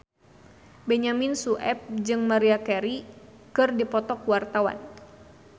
Benyamin Sueb jeung Maria Carey keur dipoto ku wartawan